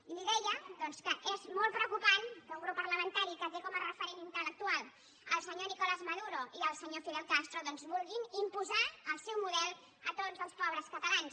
i li deia doncs que és molt preocupant que un grup parlamentari que té com a referent intel·lectual el senyor nicolás maduro i el senyor fidel castro doncs vulgui imposar el seu model a tots els pobres catalans